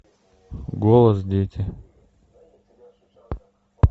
голос дети